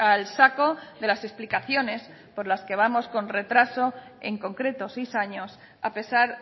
al saco de las explicaciones por las que vamos con retraso en concreto seis años a pesar